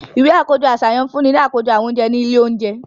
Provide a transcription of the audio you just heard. Iwe akojọ aṣayan ǹ funni ni akojọ awọn ounjẹ ni ile ounjẹ